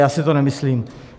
Já si to nemyslím.